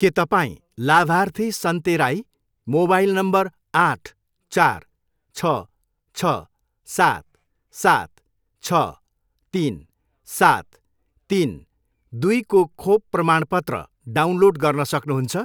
के तपाईँँ लाभार्थी सन्ते राई, मोबाइल नम्बर आठ, चार, छ, छ, सात, सात, छ, तिन, सात, तिन, दुईको खोप प्रमाणपत्र डाउनलोड गर्न सक्नुहुन्छ?